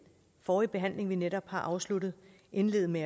forrige behandling vi netop har afsluttet indlede med